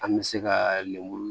An bɛ se ka lemuru